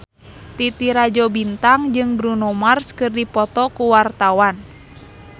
Titi Rajo Bintang jeung Bruno Mars keur dipoto ku wartawan